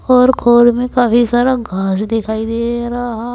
और में काफी सारा घास दिखाई दे रहा है।